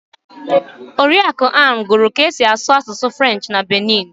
Oriakụ Ann gụrụ kaa esi asụ asụsụ Frenchị na Benin.